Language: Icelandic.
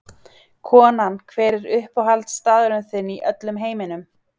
Konan Hver er uppáhaldsstaðurinn þinn í öllum heiminum?